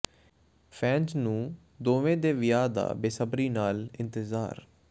fans ਨੂੰ ਦੋਵੇਂ ਦੇ ਵਿਆਹ ਦਾ ਬੇਸਬਰੀ ਨਾਲ ਇੰਤਜ਼ਾਰ